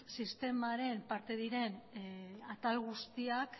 sistemaren parte diren atal guztiak